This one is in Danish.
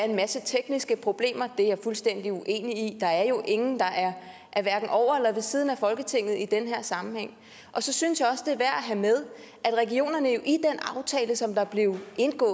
en masse tekniske problemer det er jeg fuldstændig uenig i der er jo ingen der er over eller ved siden af folketinget i den her sammenhæng så synes jeg at have med at regionerne i den aftale som der var